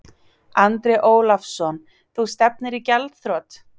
Andri Ólafsson: Þú stefnir í gjaldþrot?